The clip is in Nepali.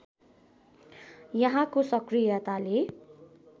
यहाँको सक्रियताले